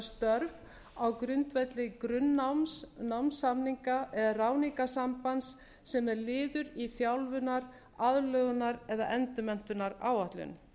störf á grundvelli grunnnáms námssamninga eða ráðningarsambands sem er liður í þjálfunar aðlögunar eða endurmenntunaráætlun